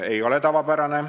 Ei ole tavapärane.